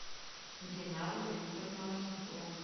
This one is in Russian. динару викторовну архипову